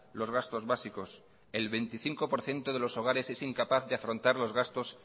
los gastos básicos el veinticinco por ciento de los hogares es incapaz de afrontar los gastos